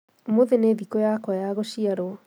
Ũmũthĩ nĩ thikũyakwa ya gũciarwo